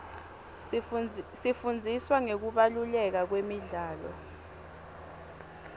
sifundziswa ngekubaluleka kwemidlalo